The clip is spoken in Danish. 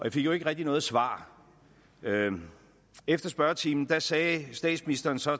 jo ikke rigtig noget svar efter spørgetimen sagde statsministeren så